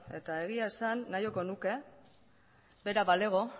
eta egia esan nahiago nuke bera balego